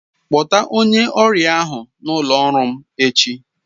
Kpọta onye ọrịa ahụ n'ụlọ ọrụ m echi!